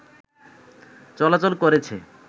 চলাচল করেছে